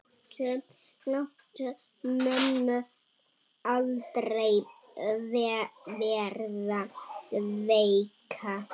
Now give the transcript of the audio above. Láttu mömmu aldrei verða veika.